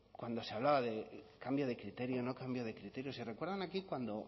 cuando se hablaba de cambio de criterio no cambio de criterio si recuerdan aquí cuando